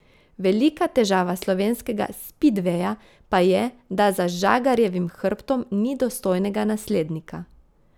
Velika težava slovenskega spidveja pa je, da za Žagarjevim hrbtom ni dostojnega naslednika.